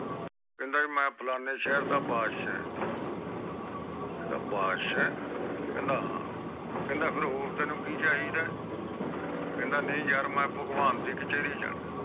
ਕਹਿੰਦਾ ਮੈਂ ਫਲਾਣੇ ਸ਼ਹਿਰ ਦਾ ਬੰਦਸ਼ ਆ ਕਹਿੰਦਾ ਬਾਦਸ਼ਾਹ ਆ ਤੇ ਹੋਰ ਫੇਰ ਤੈਨੂੰ ਕਿ ਚਾਹੀਦਾ ਕਹਿੰਦਾ ਨਾਈ ਯਾਰ ਮੈਂ ਭਗਵਾਂ ਦੇ ਕਚਰੀ ਜਾਣਾ ਆ